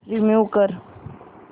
remove कर